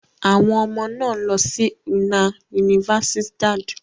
Àwọn ọmọ náà lọ sí una universidad.